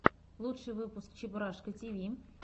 лучший выпуск чебураша тиви